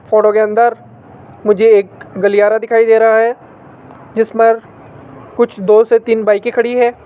Photo के अंदर मुझे एक गलियारा दिखाई दे रहा है जिस मर कुछ दो से तीन बाईके खड़ी है।